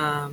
um?